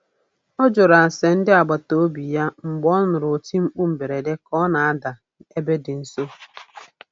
Ọ jụrụ ase ndị agbataobi ya mgbe ọ nụrụ oti mkpu mberede ka ọ na-ada ebe dị nso.